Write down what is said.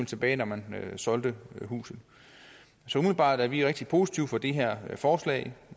tilbage når man solgte huset så umiddelbart er vi rigtig positive over for det her forslag